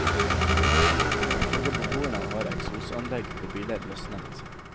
Ifølge beboere har eksosanlegg på biler løsnet.